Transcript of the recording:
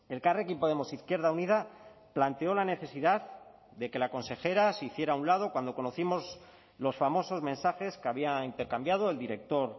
elkarrekin podemos izquierda unida planteó la necesidad de que la consejera se hiciera a un lado cuando conocimos los famosos mensajes que había intercambiado el director